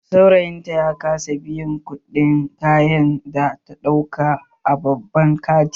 Saurayin ta ya kasa biyan kuɗin kayan da ta ɗauka a babban kantin